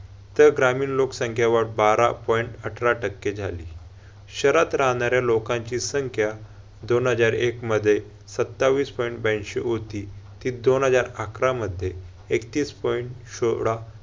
तर ग्रामीण लोकसंख्या वाढ बारा point अठरा टक्के झाली. शहरात राहणाऱ्या लोकांची संख्या दोन हजार एक मध्ये सत्तावीस point ब्याऐशीं होती. ती दोन हजार अकरामध्ये एकतीस point सोळा